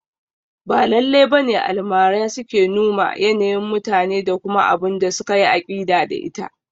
Ba lallai bane Almara suke numa yanayin mutane da kuma abunda suka yi aƙida da ita